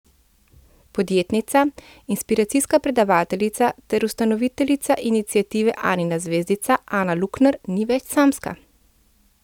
Podjetnica, inspiracijska predavateljica ter ustanoviteljica iniciative Anina zvezdica Ana Lukner ni več samska.